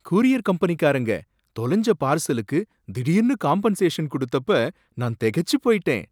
Courier கம்பெனிகாரங்க தொலஞ்ச பார்சலுக்கு திடீர்ன்னு காம்பென்சேஷன் குடுத்தப்ப நான் திகைச்சி போயிட்டேன்.